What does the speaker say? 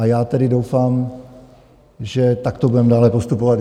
A já tedy doufám, že takto budeme dále postupovat.